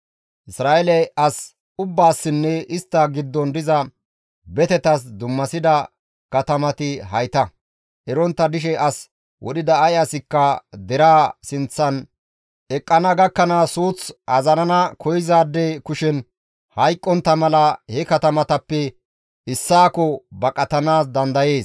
Isra7eele as ubbaassinne istta giddon diza betetas dummasida katamati hayta; erontta dishe as wodhida ay asikka deraa sinththan eqqana gakkanaas suuth azarana koyzaade kushen hayqqontta mala he katamatappe issaakko baqatanaas dandayees.